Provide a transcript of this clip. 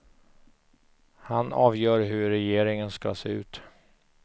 Han avgör hur regeringen ska se ut.